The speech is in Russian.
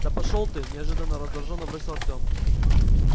да пошёл ты неожиданно раздражённо бросил артем